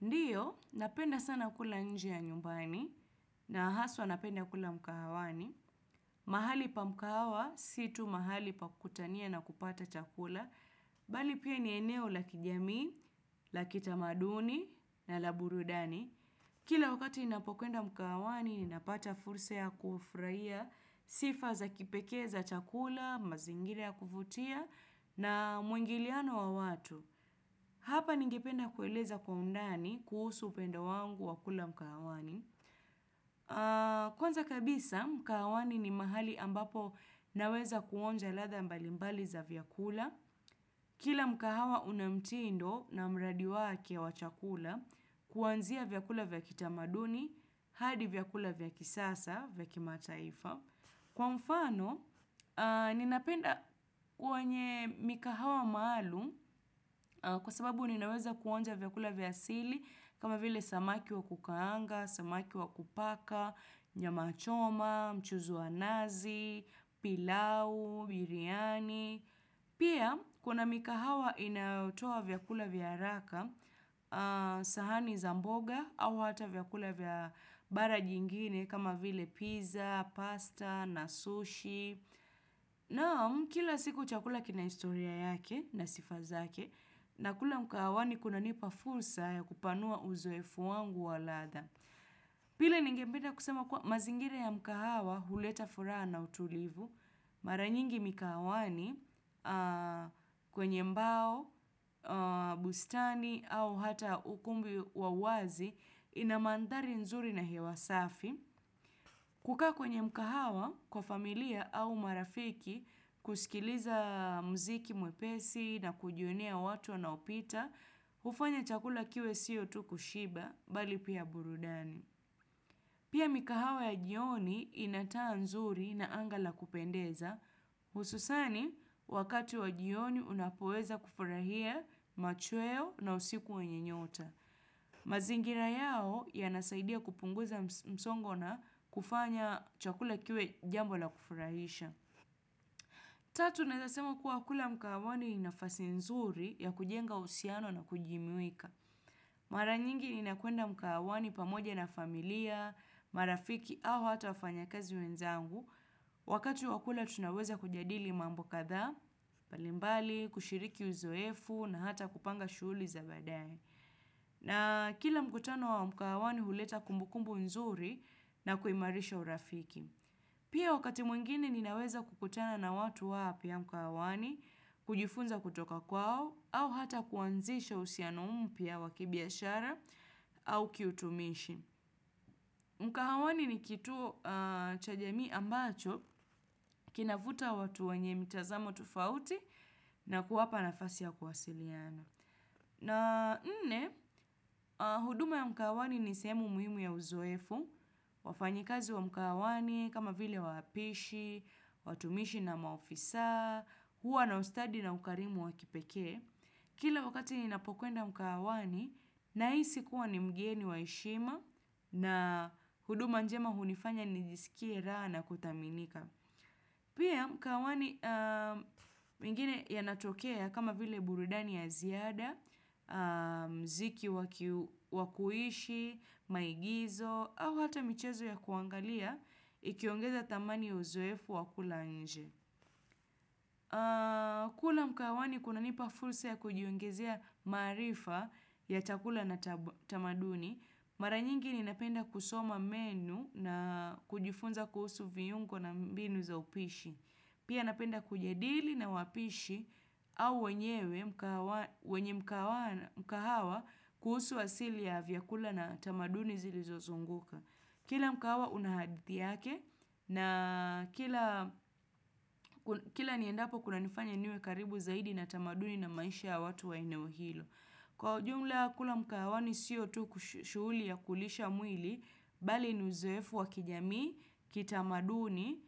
Ndiyo, napenda sana kula nji ya nyumbani, na haswa napenda kula mkahawani, mahali pa mkahawa, si tu mahali pakutania na kupata chakula, bali pia ni eneo la kijamii, la kitamaduni, na la burudani. Kila wakati inapokenda mkawani, ninapata fursa ya kufurahia sifa za kipekee za chakula, mazingira ya kufutia na mwingiliano wa watu. Hapa ningependa kueleza kwa undani, kuhusu upendo wangu wa kula mkahawani. Kwanza kabisa, mkahawani ni mahali ambapo naweza kuonja ladha mbalimbali za vyakula. Kila mkahawa unamtindo na mradi wake wa chakula kuanzia vyakula vyakitamaduni, hadi vyakula vyakisasa, vyakimataifa. Kwa mfano, ninapenda kwenye mikahawa maalum kwa sababu ninaweza kuonja vyakula vya asili kama vile samaki wa kukaanga, samaki wa kupaka, nyama choma, mchuzi wa nazi, pilau, biriani. Pia kuna mikahawa inayotoa vyakula vya haraka, sahani za mboga au hata vya kula vya bara jingine kama vile pizza, pasta, na sushi. Naam kila siku chakula kina historia yake na sifa zake. Nakula mikahawani kunanipa fursa ya kupanua uzoefu wangu waladha. Pile nigependa kusema kuwa mazingire ya mkahawa huleta furaha na utulivu, mara nyingi mikahawani kwenye mbao, bustani au hata ukumbi wawazi inamandari nzuri na hewa safi, kukaa kwenye mkahawa kwa familia au marafiki kusikiliza mziki mwepesi na kujionea watu waopita, ufanya chakula kiwe siyo tuku shiba bali pia burudani. Pia mikahawa ya jioni inataa nzuri na angala kupendeza, ususani wakati wa jioni unapoeza kufurahia machweo na usikuwa wenye nyota. Mazingira yao ya nasaidia kupunguza msongo na kufanya chakula kiwe jambo la kufurahisha. Tatu nazasema kuwa kula mkahawani inafasi nzuri ya kujenga husiano na kujimuika. Mara nyingi ni nakuenda mkahawani pamoja na familia, marafiki au hata wafanya kazi wenzangu. Wakatu wakula tunaweza kujadili mambo kadhaa, mbalimbali, kushiriki uzoefu na hata kupanga shughuli za baadae. Na kila mkutano wa mkawani huleta kumbukumbu nzuri na kuimarisha urafiki. Pia wakati mwingine ninaweza kukutana na watu wapya mkahawani, kujifunza kutoka kwao, au hata kuanzisha usiano mpya wakibiashara au kiutumishi. Mkahawani ni kitu chajamii ambacho, kinavuta watu wanye mitazamo tofauti na kuwapa nafasi ya kuwasiliana. Na nne, huduma ya mkahawani ni sehemu muhimu ya uzoefu, wafanyikazi wa mkahawani, kama vile wapishi, watumishi na maofisa, huwa na ustadi na mkarimu wakipeke. Kila wakati ninapokwenda mkahawani, nahisi kuwa ni mgeni waheshima na huduma njema hunifanya nijisikie raha kudhaminika. Pia mkahawani mengine yanatokea kama vile burudani ya ziada, mziki wakuishi, maigizo, au hata michezo ya kuangalia, ikiongeza dhamani ya uzoefu wakula nje. Kula mkawani kunanipa fursa ya kujiungizia marifa ya takula na tamaduni, mara nyingi ninapenda kusoma menu na kujifunza kuhusu viyungo na mbinu za upishi. Pia napenda kujadili na wapishi au wenyewe mkahawa kuhusu asili ya vyakula na tamaduni zilizozunguka. Kila mkahawa una hadithi yake na kila niendapo kuna nifanya niwe karibu zaidi na tamaduni na maisha watu wainewo hilo. Kwa ujumla kula mkahawani si yo tu kushuuli ya kulisha mwili, bali ni uzoefu wa kijamii, kitamaduni,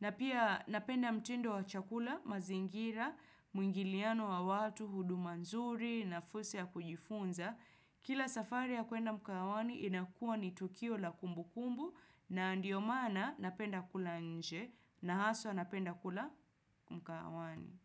na pia napenda mtindo wa chakula, mazingira, mwingiliano wa watu, hudu nzuri, na fursa ya kujifunza. Kila safari ya kuenda mkawani inakuwa ni tukio la kumbukumbu, na ndio maana napenda kula nje, na haswa napenda kula mkahawani.